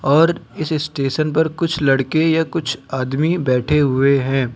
और इस स्टेशन पर कुछ लड़के या कुछ आदमी बैठे हुए हैं।